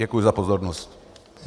Děkuji za pozornost.